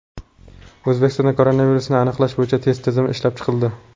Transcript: O‘zbekistonda koronavirusni aniqlash bo‘yicha test tizimi ishlab chiqildi.